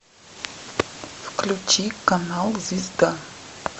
включи канал звезда